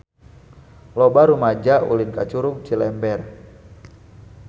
Loba rumaja ulin ka Curug Cilember